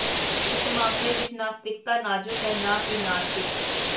ਇਸ ਮਾਮਲੇ ਵਿਚ ਨਾਸਤਿਕਤਾ ਨਾਜ਼ੁਕ ਹੈ ਨਾ ਕਿ ਨਾਸਤਿਕ